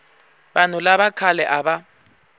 vanhu lava khale a va